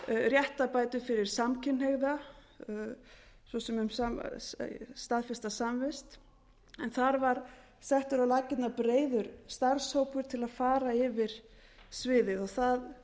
réttarbætur fyrir samkynhneigða svo sem um staðfesta samvist en þar var settur á laggirnar breiður starfshópur til að fara yfir sviðið það